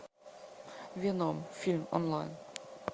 веном фильм онлайн